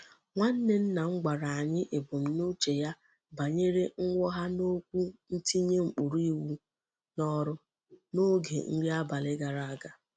Nwanne nna m gwara anyi ebumnuche ya banyere nwogha n'okwu ntinye ukpuru iwu n'oru n'oge nri abali gara aga.